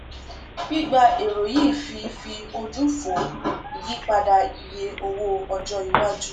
gbígba èrò yìí fi fi ojú fò ìyípadà iye owó ọjọ iwájú